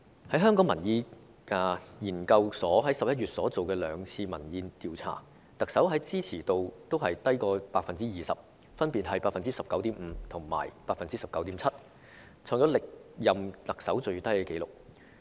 香港民意研究所在11月進行的兩次民意調查顯示，特首的支持度均低於 20%， 分別為 19.5% 和 19.7%， 創下歷任特首的最低紀錄。